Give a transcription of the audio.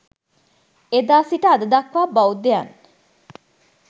එදා සිට අද දක්වා බෞද්ධයන්